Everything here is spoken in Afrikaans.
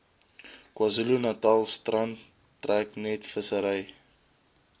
kzn strand treknetvissery